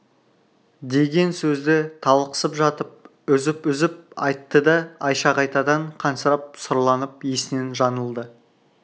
деген сөзді талықсып жатып үзіп-үзіп айтты да айша қайтадан қансырап сұрланып есінен жаңылды